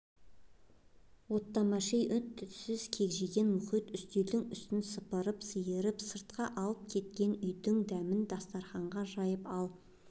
оттамашы-ей үн-түнсіз кекжиген мұхит үстелдің үстін сыпырып-сиырып сыртқа алып кеткен үйдің дәмін дастарханға жайып ал